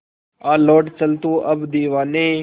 आ लौट चल तू अब दीवाने